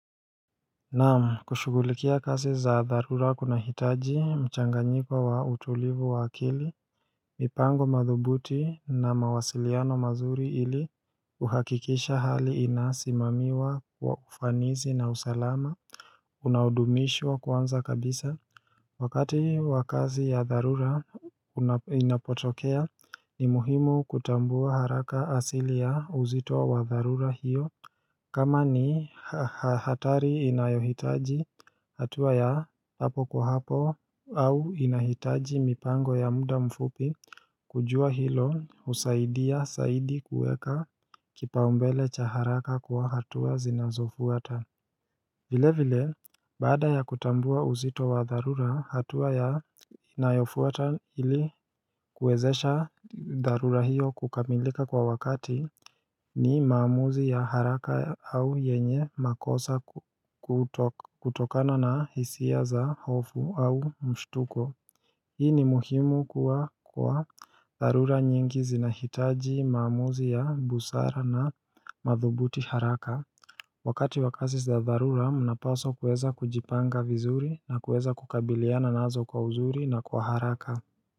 Naam kushugulikia kazi za dharura kunahitaji mchanganyiko wa utulivu wa akili mipango madhubuti na mawasiliano mazuri ili uhakikisha hali inasimamiwa kwa ufanisi na usalama Unaodumishwa kwanza kabisa Wakati wa kazi ya dharura inapotokea ni muhimu kutambua haraka asili ya uzito wa dharura hiyo kama ni hatari inayohitaji hatua ya hapo kwa hapo au inahitaji mipango ya muda mfupi kujua hilo husaidia zaidi kuweka kipaombele cha haraka kwa hatua zinazofuata vile vile, baada ya kutambua uzito wa dharura, hatua ya inayofuata ili kuwezesha dharura hiyo kukamilika kwa wakati ni maamuzi ya haraka au yenye makosa kutokana na hisia za hofu au mshtuko. Hii ni muhimu kwa dharura nyingi zinahitaji maamuzi ya busara na madhubuti haraka Wakati wa kazi za dharura mnapaswa kuweza kujipanga vizuri na kuweza kukabiliana nazo kwa uzuri na kwa haraka.